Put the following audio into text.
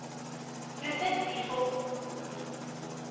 provinsie volgens aangewese